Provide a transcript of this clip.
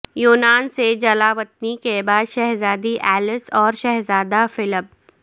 یونان سے جلا وطنی کے بعد شہزادی ایلس اور شہزادہ فلپ